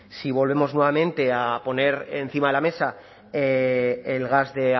si volvemos nuevamente a poner encima de la mesa el gas de